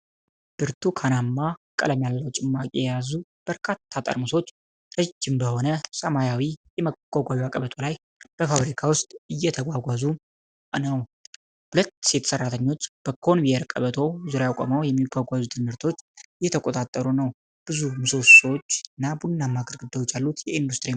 ብርቱካናማ ቀለም ያለው ጭማቂ የያዙ በርካታ ጠርሙሶች ረጅም በሆነ ሰማያዊ የማጓጓዣ ቀበቶ ላይ በፋብሪካ ውስጥ እየተጓጓዙ ነው። ሁለት ሴት ሰራተኞች በኮንቬየር ቀበቶው ዙሪያ ቆመው የሚጓጓዙትን ምርቶች እየተቆጣጠሩ ነው። ብዙ ምሰሶዎችና ቡናማ ግድግዳዎች ያሉት የኢንዱስትሪ መጋዘን ነው።